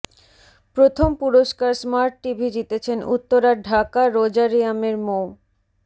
প্রথম পুরস্কার smart TV জিতেছেন উত্তরার ঢাকা রোজারিয়ামের মো